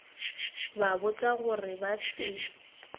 ba botša gore ba se